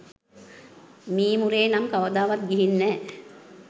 මීමුරේ නම් කවදාවත් ගිහින් නෑ.